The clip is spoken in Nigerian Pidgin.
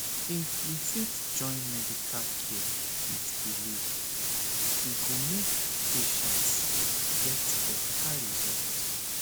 if we fit join medical care with belief e go make patients get better result